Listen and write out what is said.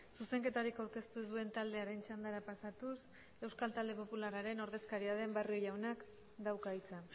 zuzenketarik aurkeztu ez duen taldearen txandara pasatuz euskal talde popularraren ordezkaria den barrio jaunak dauka hitza